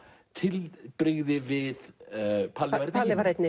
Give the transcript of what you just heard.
tilbrigði við Palli var einn í